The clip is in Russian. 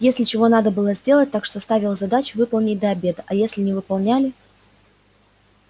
если чего надо было сделать так что ставил задачу выполнить до обеда а если не выполняли